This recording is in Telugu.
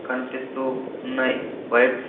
కనిపిస్తూ ఉన్నాయి బైక్స్ .